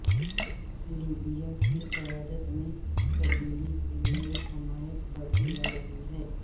Libya کی قیادت میں تبدیلی کے لئے حمایت بڑھتی جارہی ہے